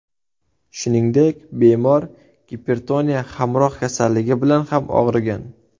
Shuningdek, bemor gipertoniya hamroh kasalligi bilan ham og‘rigan.